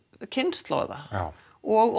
kynslóða og